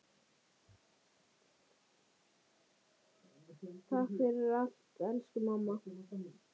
Takk fyrir allt elsku amma.